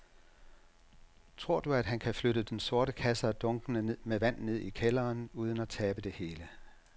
Tror du, at han kan flytte den store kasse og dunkene med vand ned i kælderen uden at tabe det hele?